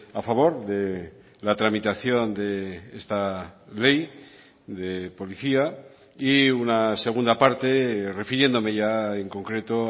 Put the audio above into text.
a favor de la tramitación de esta ley de policía y una segunda parte refiriéndome ya en concreto